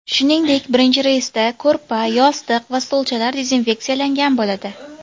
Shuningdek birinchi reysda ko‘rpa, yostiq va stolchalar dezinfeksiyalangan bo‘ladi.